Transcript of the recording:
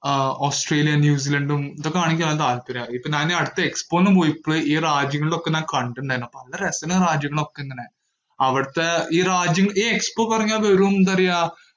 ആഹ് Australia, ന്യൂസിലൻഡും ഇത് കാണുകയാണ് താല്പര്യം. ഇപ്പൊ നാന് അടുത്ത Expo ന് പോയപ്പോഴെ ഈ രാജ്യങ്ങളൊക്കെ നാൻ കണ്ടിട്ട്ണ്ടായിരുന്നു. അപ്പൊ നല്ല രസള്ള രാജ്യങ്ങളൊക്കെ ഇങ്ങനെ, അവിടത്തെ ഈ രാജ്യം, ഈ Expo പറഞ്ഞാ വെറും എന്താ പറയ്യാ.